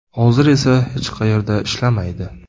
Hozirda esa hech qayerda ishlamaydi.